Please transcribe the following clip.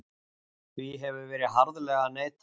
Því hefur verið harðlega neitað